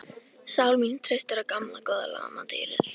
Sál mín treystir á gamla góða lamadýrið.